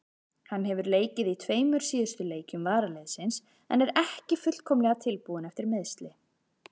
Hann hefur leikið í tveimur síðustu leikjum varaliðsins en er ekki fullkomlega tilbúinn eftir meiðsli.